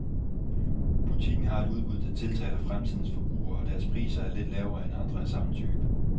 Butikken har et udbud, der tiltaler fremtidens forbruger, og deres priser er lidt lavere end andre af samme type.